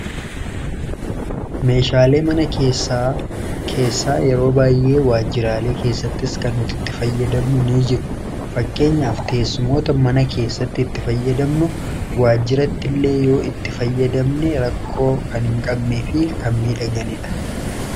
meeshaalee mana keessa keessaa yeroo baayyee waajiraalee keessattis kan nuti itti fayyadamnu ni jiru fakkeenyaaf teessumoota mana keessatti itti fayyadamnu waajiratti illee yoo itti fayyadamne rakkoo kan hin qabnee fi kan midhaganiidha